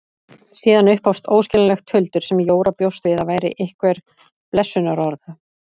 Síðan upphófst óskiljanlegt tuldur sem Jóra bjóst við að væri einhver blessunarorð.